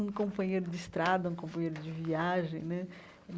Um companheiro de estrada, um companheiro de viagem né.